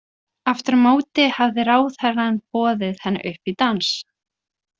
Aftur á móti hafði ráðherrann boðið henni upp í dans.